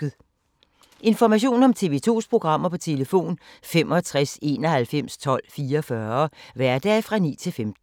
Information om TV 2's programmer: 65 91 12 44, hverdage 9-15.